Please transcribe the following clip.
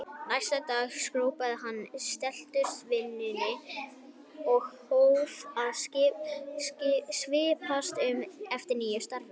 Næsta dag skrópaði hann í setuliðsvinnunni og hóf að svipast um eftir nýju starfi.